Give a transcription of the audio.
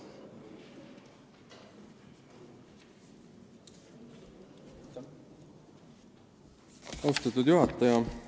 Austatud juhataja!